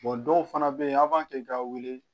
dɔw fana bɛ yen aw b'a kɛ k'a wele